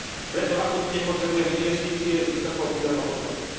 Preto akútne potrebujeme investície s vysokou pridanou hodnotou.